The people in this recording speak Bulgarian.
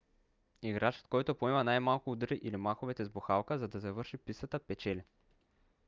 играчът който поема най-малкото удари или махове с бухалката за да завърши пистата печели